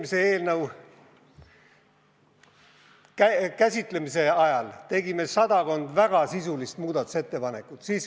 Isegi eelnõu eelmise käsitlemise ajal tegime sadakond väga sisulist muudatusettepanekut.